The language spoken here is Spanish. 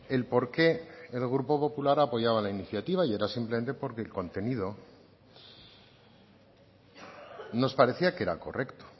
el por qué el grupo popular apoyaba la iniciativa y era simplemente porque el contenido nos parecía que era correcto